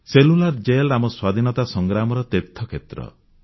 cellular jail ଆମ ସ୍ୱାଧୀନତା ସଂଗ୍ରାମର ତୀର୍ଥକ୍ଷେତ୍ର